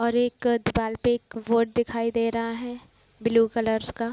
और एक दीवाल पे एक बोर्ड दिखाई दे रहा है ब्लू कलर का |